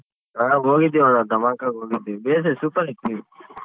ಆ ಹೋಗಿದ್ವಿ ಅಣ್ಣ ಧಮಾಕಾಗ್ ಹೋಗಿದ್ವಿ. super hit movie.